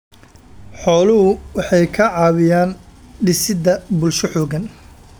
Xooluhu waxay ka caawiyaan dhisidda bulsho xooggan.